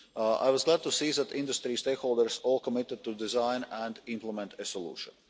I was glad to see that industry stakeholders all committed to design and implement a solution.